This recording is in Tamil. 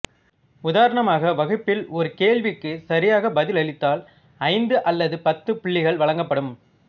உதாரணமாக வகுப்பில் ஒரு கேள்விக்கு சரியாக பதில் அளித்தால் ஐந்து அல்லது பத்து புள்ளிகள் வழங்கப்படும்